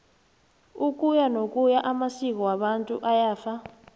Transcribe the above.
ukuyanokuya amasko wabantu ayafa